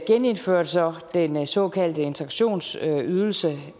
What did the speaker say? genindførte så den såkaldte integrationsydelse